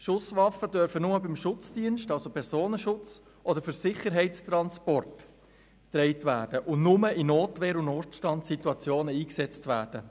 Schusswaffen dürfen nur von Schutzdiensten – also beim Personenschutz – und bei Sicherheitstransporten getragen und nur in Notwehr- und Notstandssituationen eingesetzt werden.